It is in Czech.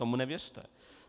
Tomu nevěřte.